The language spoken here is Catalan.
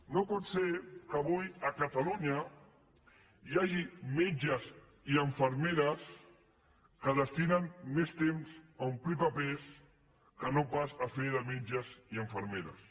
no pot ser que avui a catalunya hi hagi metges i infermeres que destinen més temps a omplir papers que no pas a fer de metges i infermeres